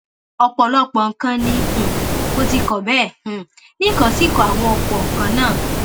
ọpọlọpọ nǹkan ni um mo ti kọ bẹẹ um ni n kò sì kọ àwọn ọpọ nǹkan náà